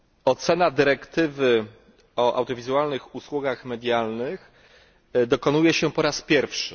Oceny dyrektywy o audiowizualnych usługach medialnych dokonujemy po raz pierwszy.